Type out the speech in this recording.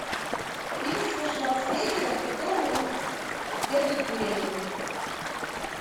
фильм со шварценеггером в котором он бегает беременный